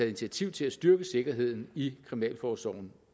initiativ til at styrke sikkerheden i kriminalforsorgen